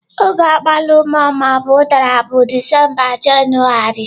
Oge agbalumo/udara bụ Disemba Jenụwarị.